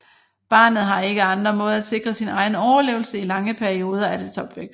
Barnet har ikke andre måder at sikre sin egen overlevelse i lange perioder af dets opvækst